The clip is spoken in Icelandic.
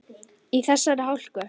Í þessari hálku?